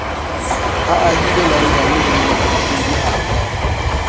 ahile london le moahlodi arthur